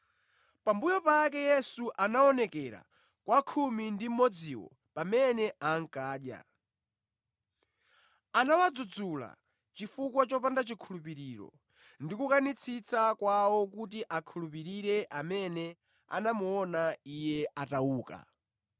Pambuyo pake Yesu anaonekera kwa khumi ndi mmodziwo pamene ankadya; anawadzudzula chifukwa chopanda chikhulupiriro ndi kukanitsitsa kwawo kuti akhulupirire amene anamuona Iye atauka.